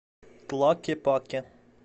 тлакепаке